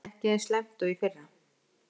Ekki eins slæmt og í fyrra